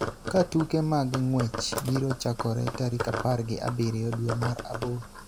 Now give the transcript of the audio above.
ka tuke mag ng�wech biro chakore tarik apar gi abiriyo dwe mar aboro,